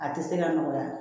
A tɛ se ka nɔgɔya